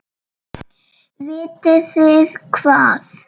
Vitið þið hvað.